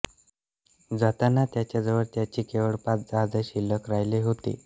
जाताना त्याच्याजवळ त्याची केवळ पाच जहाजे शिल्लक राहिलेली होती